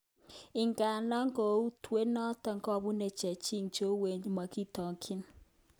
Ingandan kokwoutyet noton kobune chechig cheuwen mokitokyin.